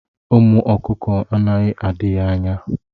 Ụmụ ọkụkọ anaghị adị ya anya.